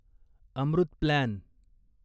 Amrut plan